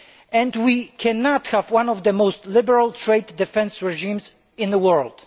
And we cannot have one of the most liberal trade defence regimes in the world.